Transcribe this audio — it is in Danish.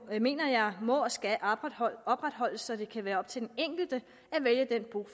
mener jeg må og skal opretholdes så det kan være op til den enkelte